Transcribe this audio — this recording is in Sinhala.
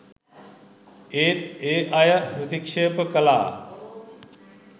ඒත් ඒ අය ප්‍රතික්‍ෂේප කළා.